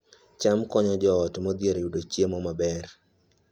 cham konyo joot modhier yudo chiemo maber